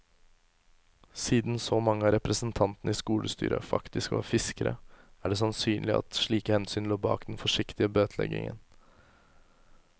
Siden så mange av representantene i skolestyret faktisk var fiskere, er det sannsynlig at slike hensyn lå bak den forsiktige bøteleggingen.